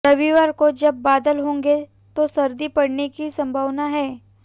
रविवार को जब बादल होंगे तो सर्दी पड़ने की संभावना है